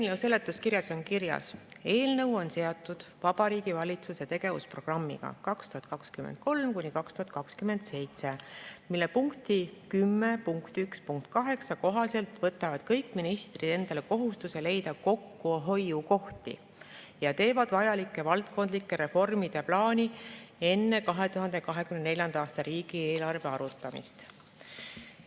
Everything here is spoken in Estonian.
Eelnõu seletuskirjas on kirjas: "Eelnõu on seotud Vabariigi Valitsuse tegevusprogrammiga 2023–2027, mille punkti 10.1.8 kohaselt võtavad kõik ministrid endale kohustuse leida kokkuhoiukohti ja teevad vajalike valdkondlike reformide plaani enne 2024. aasta riigieelarve arutamist.